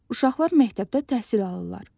Uşaqlar məktəbdə təhsil alırlar.